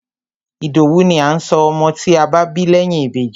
Ìdòwú ni à ń sọ ọmọ tí a bá bí lẹ́yìn Ìbejì.